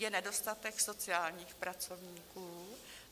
Je nedostatek sociálních pracovníků.